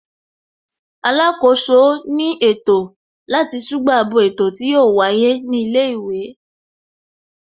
Alákòóso ní ètò láti ṣùgbà bo ètò tí yóò wáyé ní ilé ìwé